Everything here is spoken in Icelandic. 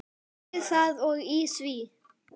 Við það og í því.